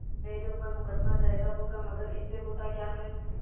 मेरे ऊपर मुकदमा दायर होगा मगर इससे होता क्या है